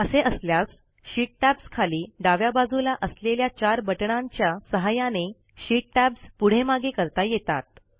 असे असल्यास sheet tabs खाली डाव्या बाजूला असलेल्या चार बटणांच्या सहाय्याने शीट टॅब्स पुढेमागे करता येतात